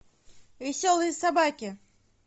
веселые собаки